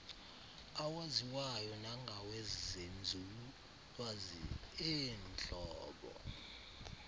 awaziwayo nangawenzululwazi eentlobo